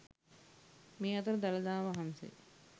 මේ අතර දළදා වහන්සේ